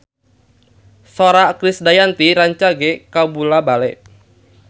Sora Krisdayanti rancage kabula-bale